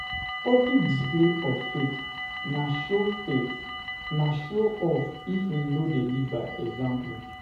Public display of faith na show faith na show off if im no de lead by example